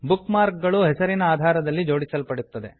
book mark ಗಳು ಹೆಸರಿನ ಆಧಾರದಲ್ಲಿ ಜೋಡಿಸಲ್ಪಡುತ್ತದೆ